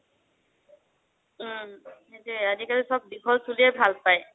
উম সেইটোয়ে আজিকালি চব দীঘল চুলিয়েই ভাল পায়।